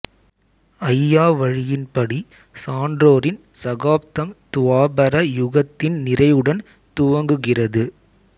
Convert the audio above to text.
அய்யாவழியின் படி சான்றோரின் சகாப்தம் துவாபர யுகத்தின் நிறைவுடன் துவங்குகிறது